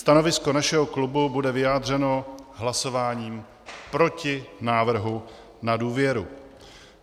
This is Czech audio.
Stanovisko našeho klubu bude vyjádřeno hlasováním proti návrhu na důvěru.